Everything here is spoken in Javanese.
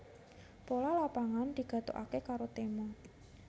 Pola Lapangan digathukaké karo tema